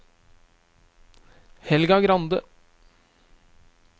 Helga Grande